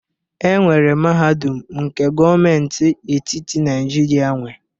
Enwere mahadum nke gọọmenti etiti Naijiria nwe